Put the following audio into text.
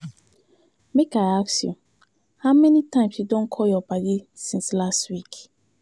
Make I ask you, how many times you don call your paddy since last week.